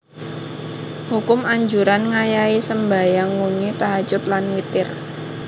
Hukum Anjuran ngayahi sembahyang wengi tahajjud lan witir